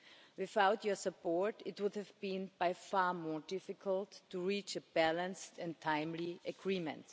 Without your support, Commissioner, it would have been, by far, more difficult to reach a balanced and timely agreement.